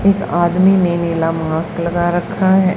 एक आदमी में नीला मास्क लगा रखा है।